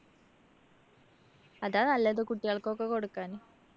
അതാ നല്ലത്. കുട്ടികള്‍ക്കൊക്കെ കൊടുക്കാൻ.